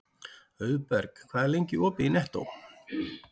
Auðberg, hvað er lengi opið í Nettó?